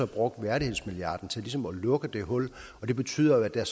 brugt værdighedsmilliarden til ligesom at lukke det hul og det betyder jo at der